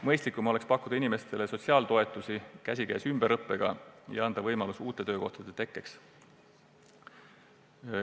Mõistlikum on pakkuda inimestele sotsiaaltoetusi käsikäes ümberõppega ja anda võimalus uute töökohtade tekkeks.